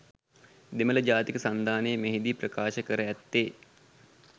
දෙමළ ජාතික සන්ධානය මෙහි දී ප්‍රකාශ කර ඇත්තේ